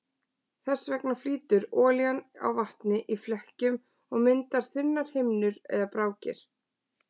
Þess vegna flýtur olían á vatni í flekkjum og myndar þunnar himnur eða brákir.